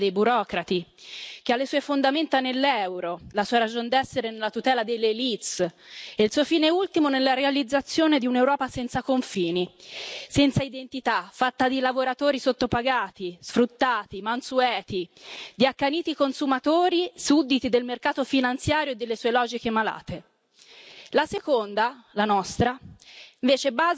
La prima, quella dei burocrati, che ha le sue fondamenta nell'euro, la sua ragion d'essere nella tutela delle élite e il suo fine ultimo nella realizzazione di un'Europa senza confini, senza identità, fatta di lavoratori sottopagati, sfruttati, mansueti, di accaniti consumatori, sudditi del mercato finanziario e delle sue logiche malate. La seconda, la nostra,